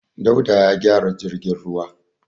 Dauda ya gyara jirgin ruwa.